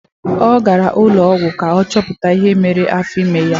Ọ gara n'ụlọọgwụ ka ọ chọpụta ihe na-eme afọ ime ya.